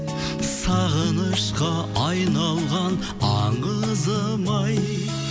сағынышқа айналған аңызым ай